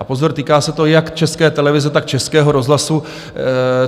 A pozor, týká se to jak České televize, tak Českého rozhlasu.